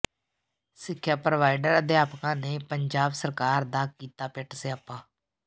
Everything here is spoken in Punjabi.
ਸਿੱਖਿਆ ਪੋ੍ਰਵਾਈਡਰ ਅਧਿਆਪਕਾਂ ਨੇ ਪੰਜਾਬ ਸਰਕਾਰ ਦਾ ਕੀਤਾ ਪਿੱਟ ਸਿਆਪਾ